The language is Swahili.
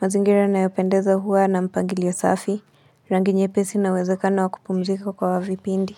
Mazingira yanayopendeza huwa na mpangili safi. Rangi nyepesi na wezekano wa kupumzika kwa wavipindi.